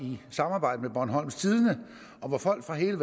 i samarbejde med bornholms tidende og hvor folk fra hele